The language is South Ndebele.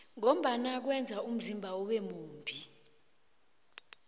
ngombana kweza umzimba ube mumbi